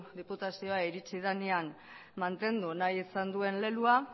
diputaziora iritsi denean mantendu nahi izan duen leloa